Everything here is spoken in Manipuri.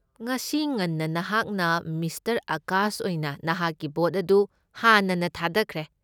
ꯉꯁꯤ ꯉꯟꯅ ꯅꯍꯥꯛꯅ ꯃꯤꯁꯇꯔ ꯑꯥꯀꯥꯁ ꯑꯣꯏꯅ ꯅꯍꯥꯛꯀꯤ ꯚꯣꯠ ꯑꯗꯨ ꯍꯥꯟꯅꯅ ꯊꯥꯗꯈ꯭ꯔꯦ꯫